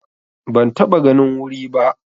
Ban taɓa ganin wuri ba.